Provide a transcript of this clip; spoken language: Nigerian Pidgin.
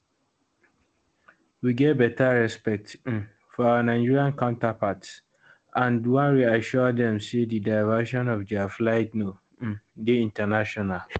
we get beta respect um for our nigerian counterparts and wan reassure dem say di diversion of dia flight no um dey in ten tional